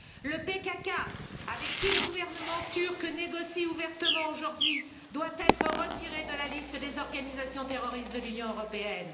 Le PKK, avec qui le gouvernement turc négocie ouvertement aujourd'hui, doit être retiré de la liste des organisations terroristes de l'Union européenne.